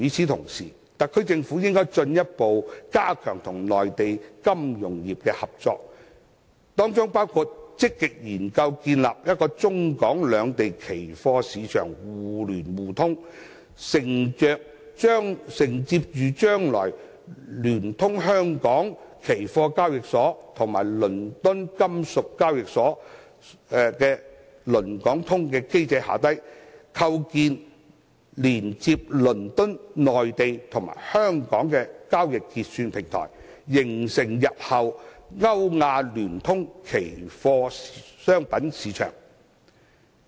同時，特區政府應該進一步加強與內地金融業的合作，包括積極研究建立中港兩地期貨市場互聯互通，承接着將來聯通香港期貨交易所與倫敦金屬交易所的"倫港通"機制，構建連接倫敦、內地與香港的交易結算平台，締造日後歐亞聯通的期貨商品市場。